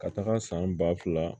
Ka taga san ba fila